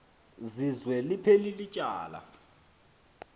zizwe liphelil ityala